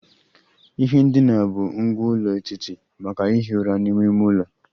Ihe ndina bụ ngwá ụlọ etiti maka ihi ụra n'ime ime ụlọ